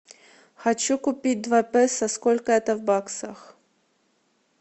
хочу купить два песо сколько это в баксах